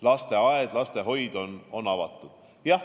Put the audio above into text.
Lasteaed ja lastehoid on avatud.